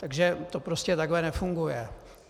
Takže to prostě takhle nefunguje.